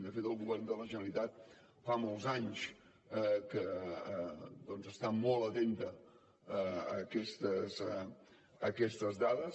de fet el govern de la generalitat fa molts anys que doncs està molt atent a aquestes dades